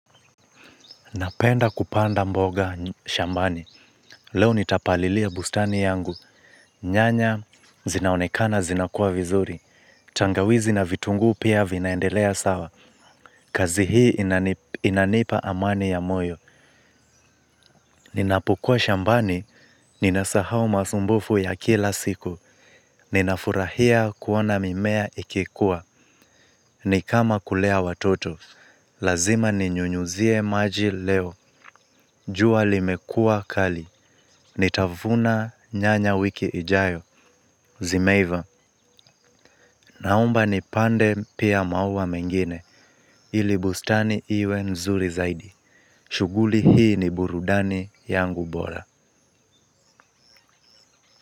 Napenda kupanda mboga shambani, leo nitapalilia bustani yangu, nyanya zinaonekana zinakuwa vizuri, tangawizi na vitunguu pia vinaendelea sawa, kazi hii inanipa amani ya moyo. Ninapokuwa shambani, ninasahau masumbufu ya kila siku, ninafurahia kuona mimea ikikuwa, nikama kulea watoto, lazima ninyunyuzie maji leo, jua limekuwa kali, nitavuna nyanya wiki ijayo, zimeiva, naomba nipande pia maua mengine, ili bustani iwe nzuri zaidi, shughuli hii ni burudani yangu bora.